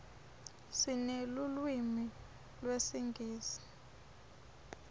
sinelulwimi lesingisi